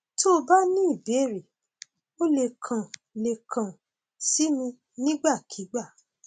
tó o bá ní ìbéèrè o lè kàn lè kàn sí mi nígbàkigbà